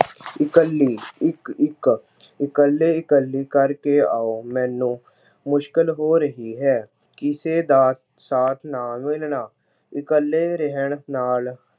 ਇਕੱਲੀ- ਇੱਕ ਇੱਕ- ਇਕੱਲੇ ਇਕੱਲੇ ਕਰਕੇ ਆਉ, ਮੈਨੂੰ ਮੁਸ਼ਕਿਲ ਹੋ ਰਹੀ ਹੈ। ਕਿਸੇ ਦਾ ਸਾਥ ਨਾ ਮਿਲਣਾ- ਇਕੱਲੇ ਰਹਿਣ ਨਾਲ